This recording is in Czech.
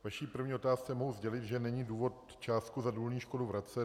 K vaší první otázce mohu sdělit, že není důvod částku za důlní škodu vracet.